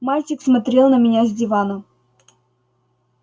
мальчик смотрел на меня с дивана